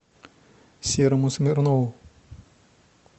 серому смирнову